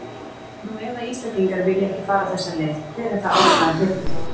Nú ef að Íslendingar vilja ekki fara þessa leið, hver er þá ástæðan fyrir því?